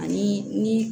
Ani ni